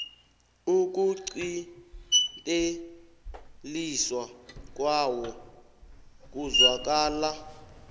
ukuqinteliswa kwawo kuzwakala